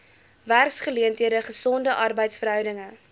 werksgeleenthede gesonde arbeidsverhoudinge